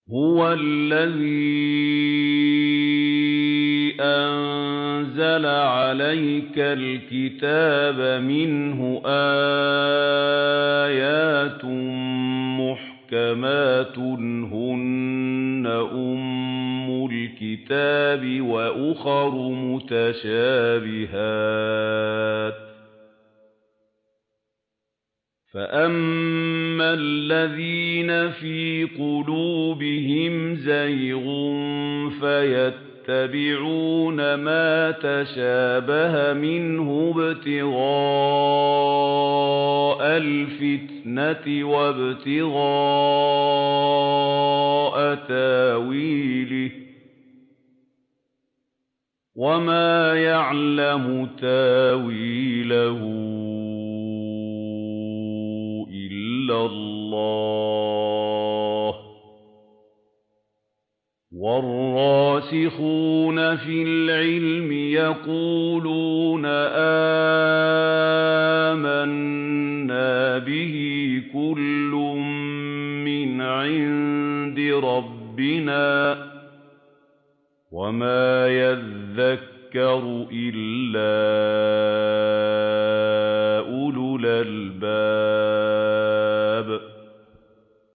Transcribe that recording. هُوَ الَّذِي أَنزَلَ عَلَيْكَ الْكِتَابَ مِنْهُ آيَاتٌ مُّحْكَمَاتٌ هُنَّ أُمُّ الْكِتَابِ وَأُخَرُ مُتَشَابِهَاتٌ ۖ فَأَمَّا الَّذِينَ فِي قُلُوبِهِمْ زَيْغٌ فَيَتَّبِعُونَ مَا تَشَابَهَ مِنْهُ ابْتِغَاءَ الْفِتْنَةِ وَابْتِغَاءَ تَأْوِيلِهِ ۗ وَمَا يَعْلَمُ تَأْوِيلَهُ إِلَّا اللَّهُ ۗ وَالرَّاسِخُونَ فِي الْعِلْمِ يَقُولُونَ آمَنَّا بِهِ كُلٌّ مِّنْ عِندِ رَبِّنَا ۗ وَمَا يَذَّكَّرُ إِلَّا أُولُو الْأَلْبَابِ